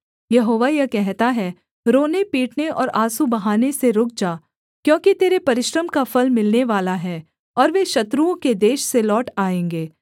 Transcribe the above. यहोवा यह कहता है रोनेपीटने और आँसू बहाने से रुक जा क्योंकि तेरे परिश्रम का फल मिलनेवाला है और वे शत्रुओं के देश से लौट आएँगे